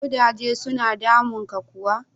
Kudaje suna damunka kuwa?